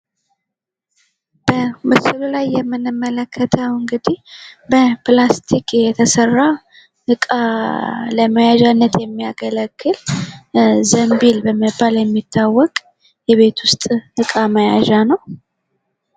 በምስሉ ላይ የምንመለከተው እንግዲህ በላስቲክ የተሰራ እቃ ለመያዣነት የሚያገለግል ዘምቢል በመባል የሚታወቅ የቤት ውስጥ እቃ መያዣ ነው።